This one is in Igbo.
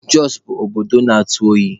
Jọsụ bụ obodo na-atụ oyi.